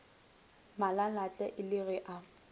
malalatle e le ge a